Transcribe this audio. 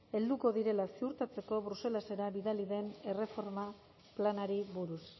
helduko direla ziurtatzeko bruselara bidali den erreforma planari buruz